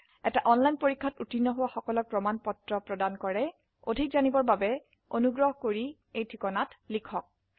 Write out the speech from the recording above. এটা অনলাইন পৰীক্ষাত উত্তীৰ্ণ হোৱা সকলক প্ৰমাণ পত্ৰ প্ৰদান কৰে অধিক জানিবৰ বাবে অনুগ্ৰহ কৰি contactspoken tutorialorg এই ঠিকনাত লিখক